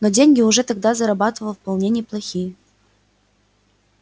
но деньги уже тогда зарабатывал вполне неплохие